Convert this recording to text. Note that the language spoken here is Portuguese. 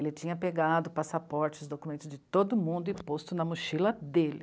Ele tinha pegado passaportes, documentos de todo mundo e posto na mochila dele.